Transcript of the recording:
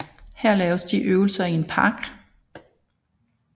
Her laver de øvelser i en park